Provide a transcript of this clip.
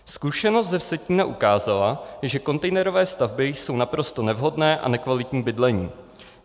Zkušenost ze Vsetína ukázala, že kontejnerové stavby jsou naprosto nevhodné a nekvalitní bydlení.